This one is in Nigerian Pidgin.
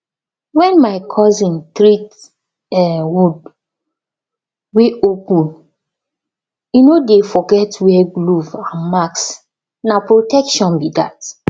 when my cousin treat um wound wey open e no dey forget wear glove and mask na protection be that